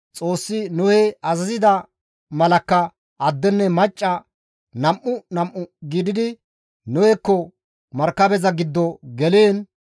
Xoossi Nohe azazida malakka addenne macca nam7u nam7u gididi Nohekko markabeza giddo geliin,